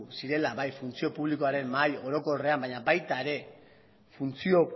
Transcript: zirela bai funtzio publikoaren mahai orokorrean baina baita ere funtzio